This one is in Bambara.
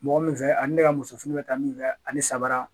Mɔgɔ min fɛ ani ne ka muso fini bɛ taa min fɛ ani sabara